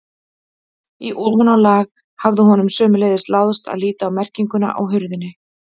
Í ofanálag hafði honum sömuleiðis láðst að líta á merkinguna á hurðinni.